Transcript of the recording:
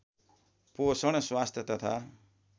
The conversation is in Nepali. पोषण स्वास्थ्य तथा